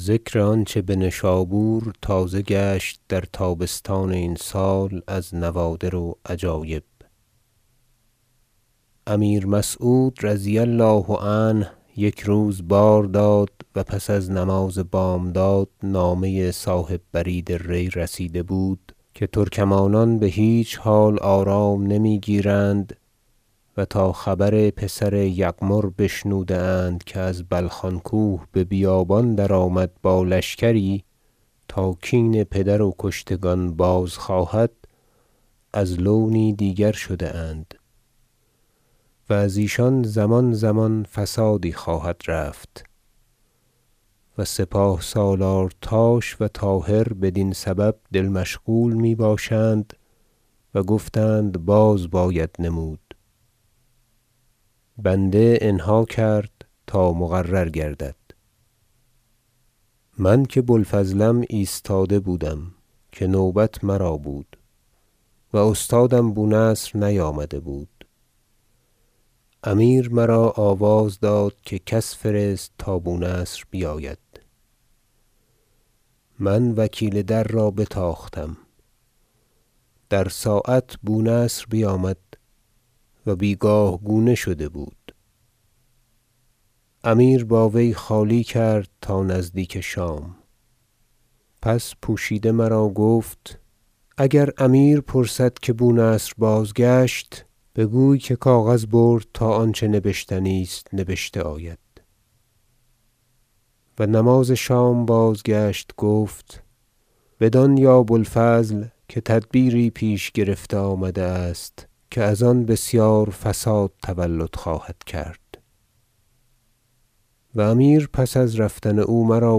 ذکر آنچه بنشابور تازه گشت در تابستان این سال از نوادر و عجایب امیر مسعود رضی الله عنه یک روز بار داد و پس از نماز بامداد نامه صاحب برید ری رسیده بود که ترکمانان بهیچ حال آرام نمیگیرند و تا خبر پسر یغمر بشنوده اند که از بلخان کوه به بیابان درآمد با لشکری تا کین پدر و کشتگان بازخواهد از لونی دیگر شده اند و از ایشان زمان زمان فسادی خواهد رفت و سپاه سالارتاش و طاهر بدین سبب دل مشغول می باشند و گفتند باز باید نمود بنده انها کرد تا مقرر گردد من که بوالفضلم ایستاده بودم که نوبت مرا بود و استادم بونصر نیامده بود امیر مرا آواز داد که کس فرست تا بونصر بیاید من وکیل در را بتاختم در ساعت بونصر بیامد و بیگاه گونه شده بود امیر با وی خالی کرد تا نزدیک شام پس پوشیده مرا گفت اگر امیر پرسد که بونصر بازگشت بگوی که کاغذ برد تا آنچه نبشتنی است نبشته آید و نماز شام بازگشت گفت بدان یا بو الفضل که تدبیری پیش گرفته آمده است که از آن بسیار فساد تولد خواهد کرد و امیر پس از رفتن او مرا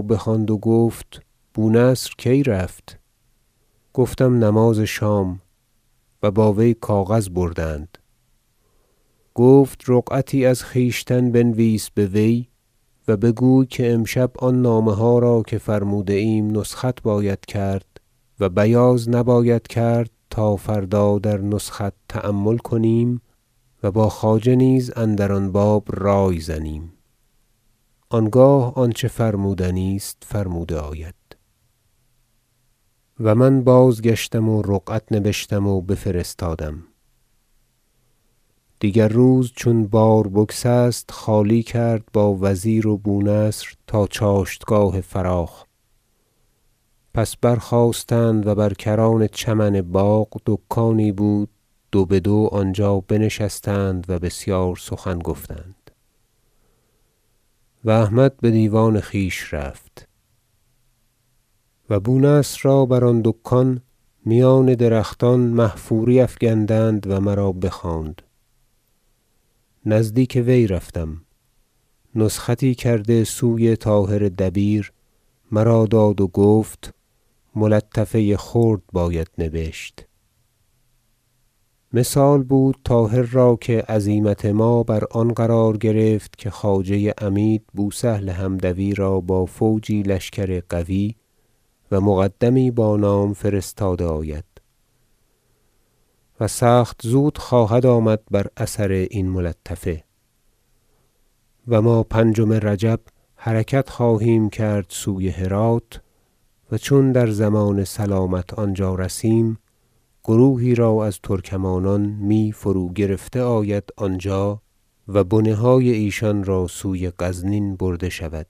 بخواند و گفت بونصر کی رفت گفتم نماز شام و با وی کاغذ بردند گفت رقعتی از خویشتن بنویس بوی و بگوی که امشب آن نامه ها را که فرموده ایم نسخت باید کرد و بیاض نباید کرد تا فردا در نسخت تأمل کنیم و با خواجه نیز اندر آن باب رای زنیم آنگاه آنچه فرمودنی است فرموده آید و من بازگشتم و رقعت نبشتم و بفرستادم دیگر روز چون بار بگسست خالی کرد با وزیر و بونصر تا چاشتگاه فراخ پس برخاستند و بر کران چمن باغ دکانی بود دو بدو آنجا بنشستند و بسیار سخن گفتند و احمد بدیوان خویش رفت و بونصر را بر آن دکان میان درختان محفوری افگندند و مرا بخواند نزدیک وی رفتم نسختی کرده سوی طاهر دبیر مرا داد و گفت ملطفه خرد باید نبشت مثال بود طاهر را که عزیمت ما بر آن قرار گرفت که خواجه عمید بوسهل حمدوی را با فوجی لشکر قوی و مقدمی با نام فرستاده آید و سخت زود خواهد آمد بر اثر این ملطفه و ما پنجم رجب حرکت خواهیم کرد سوی هرات و چون در ضمان سلامت آنجا رسیم گروهی را از ترکمانان می فرو گرفته آید آنجا و بنه های ایشان را سوی غزنین برده شود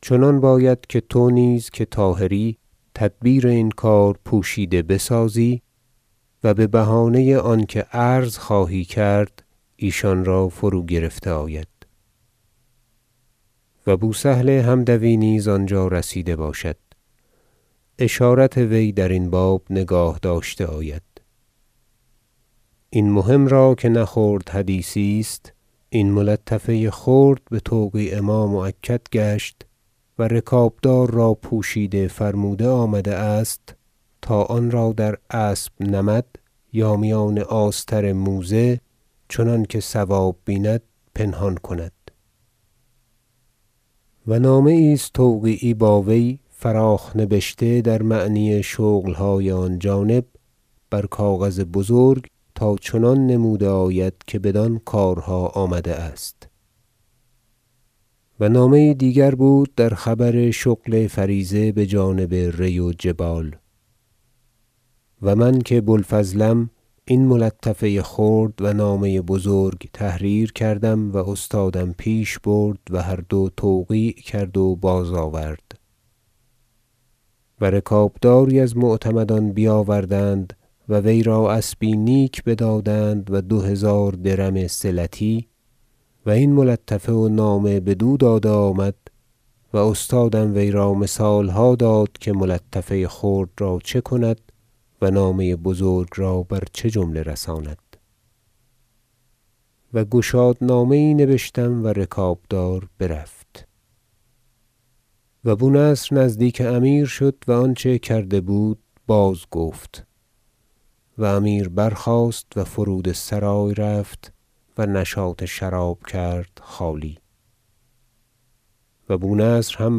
چنان باید که تو نیز که طاهری تدبیر این کار پوشیده بسازی و ببهانه آنکه عرض خواهی کرد ایشان را فرو گرفته آید و بوسهل حمدوی نیز آنجا رسیده باشد اشارت وی درین باب نگاه داشته آید این مهم را که نه خرد حدیثی است این ملطفه خرد بتوقیع ما مؤکد گشت و رکابدار را پوشیده فرموده آمده است تا آنرا در اسب نمد یا میان آستر موزه چنانکه صواب بیند پنهان کند و نامه یی است توقیعی با وی فراخ نبشته در معنی شغلهای آن جانب بر کاغذ بزرگ تا چنان نموده آید که بدان کارها آمده است و نامه یی دیگر بود در خبر شغل فریضه بجانب ری و جبال و من که بوالفضلم این ملطفه خرد و نامه بزرگ تحریر کردم و استادم پیش برد و هر دو توقیع کرد و بازآورد و رکابداری از معتمدان بیاوردند و وی را اسبی نیک بدادند و دو هزار درم صلتی و این ملطفه و نامه بدو داده آمد و استادم وی را مثالها داد که ملطفه خرد را چه کند و نامه بزرگ را بر چه جمله رساند و گشاد نامه نبشتم و رکابدار برفت و بونصر نزدیک امیر شد و آنچه کرده بود بازگفت و امیر برخاست و فرودسرای رفت و نشاط شراب کرد خالی و بونصر هم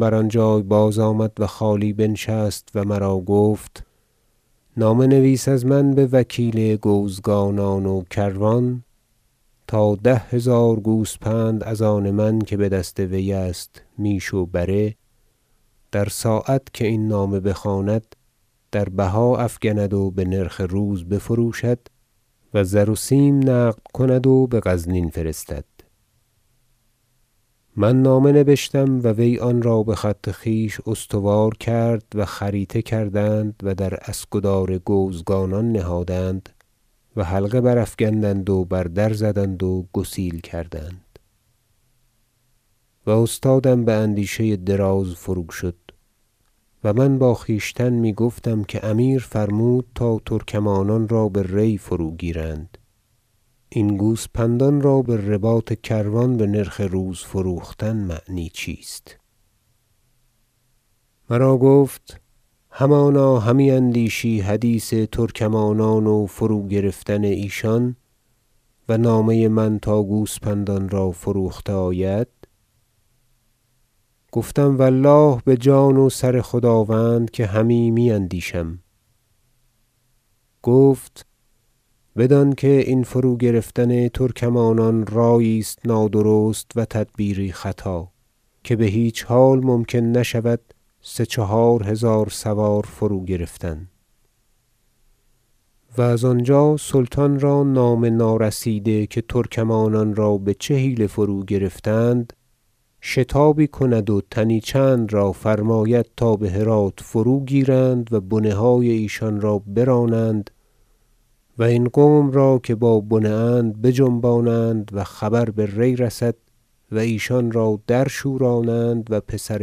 بر آنجای بازآمد و خالی بنشست و مرا گفت نامه نویس از من بوکیل گوزگانان و کروان تا ده هزار گوسپند از آن من که بدست وی است میش و بره در ساعت که این نامه بخواند دربها افگند و بنرخ روز بفروشد و زر و سیم نقد کند و بغزنین فرستد من نامه نبشتم و وی آنرا بخط خویش استوار کرد و خریطه کردند و در اسکدار گوزگانان نهادند و حلقه برافگندند و بر در زدند و گسیل کردند و استادم باندیشه دراز فروشد و من با خویشتن میگفتم که اگر امیر فرمود تا ترکمانان را به ری فروگیرند این گوسپندان را برباط کروان بنرخ روز فروختن معنی چیست مرا گفت همانا همی اندیشی حدیث ترکمانان و فروگرفتن ایشان و نامه من تا گوسفندان را فروخته آید گفتم و الله بجان و سر خداوند که همین می اندیشم گفت بدان که این فروگرفتن ترکمانان رایی است نادرست و تدبیری خطا که بهیچ حال ممکن نشود سه چهار هزار سوار را فروگرفتن و از آنجا سلطان را نامه نارسیده که ترکمانان را بچه حیله فروگرفتند شتابی کند و تنی چند را فرماید تا بهرات فروگیرند و بنه های ایشان را برانند و این قوم را که با بنه اند بجنبانند و خبر به ری رسد و ایشان را درشورانند و پسر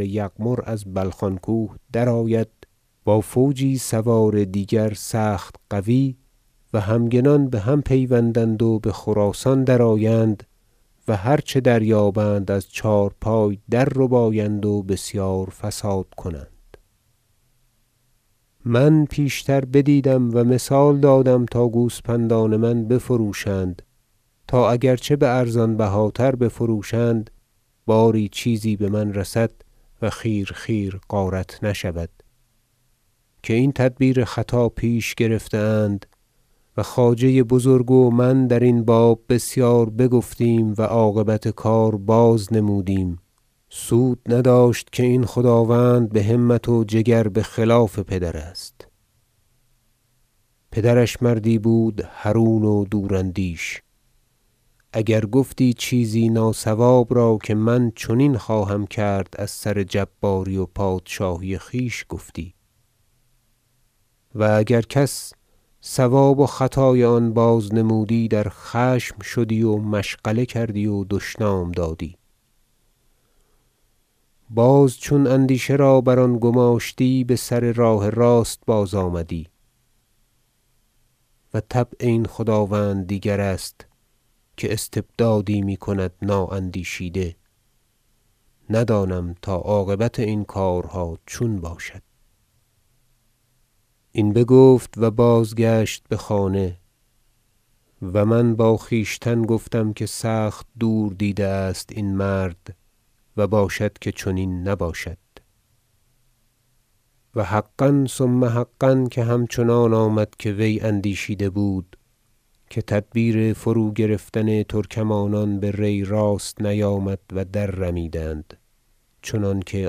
یغمر از بلخان کوه درآید با فوجی سوار دیگر سخت قوی و همگنان بهم پیوندند و بخراسان درآیند و هر چه دریابند از چهارپای درربایند و بسیار فساد کنند من پیشتر بدیدم و مثال دادم تا گوسپندان من بفروشند تا اگر چه بارزان بهاتر بفروشند باری چیزی بمن رسد و خیر خیر غارت نشود که این تدبیر خطا پیش گرفته اند و خواجه بزرگ و من درین باب بسیار بگفتیم و عاقبت کار بازنمودیم سود نداشت که این خداوند بهمت و جگر بخلاف پدر است پدرش مردی بود حرون و دوراندیش اگر گفتی چیزی ناصواب را که من چنین خواهم کرد از سر جباری و پادشاهی خویش گفتی و اگر کس صواب و خطای آن بازنمودی در خشم شدی و مشغله کردی و دشنام دادی باز چون اندیشه را بر آن گماشتی بسر راه راست بازآمدی و طبع این خداوند دیگر است که استبدادی میکند نااندیشیده ندانم تا عاقبت این کارها چون باشد این بگفت و بازگشت بخانه و من با خویشتن گفتم که سخت دور دیده است این مرد و باشد که چنین نباشد و حقا ثم حقا که همچنان آمد که وی اندیشیده بود که تدبیر فروگرفتن ترکمانان به ری راست نیامد و در رمیدند چنانکه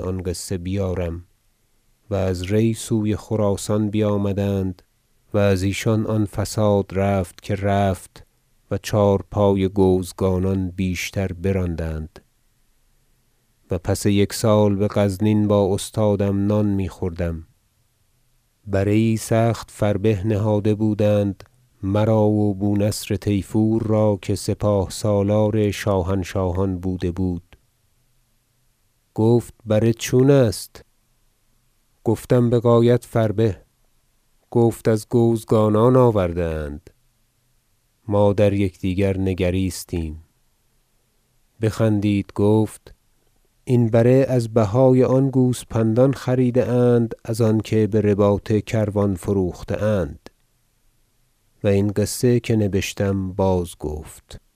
قصه آن بیارم و از ری سوی خراسان بیامدند و از ایشان آن فساد رفت که رفت و چهارپای گوزگانان بیشتر براندند و پس یک سال بغزنین با استادم نان میخوردم بره یی سخت فربه نهاده بودند مرا و بونصر طیفور را که سپاه سالار شاهنشاهان بوده بود گفت بره چون است گفتم بغایت فربه گفت از گوزگانان آورده اند ما در یکدیگر نگریستیم بخندید گفت این بره از بهای آن گوسپندان خریده اند از آنکه برباط کروان فروخته اند و این قصه که نبشتم بازگفت